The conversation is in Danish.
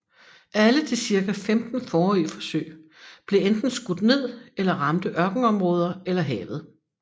Alle de cirka 15 forrige forsøg blev enten skudt ned eller ramte ørkenområder eller havet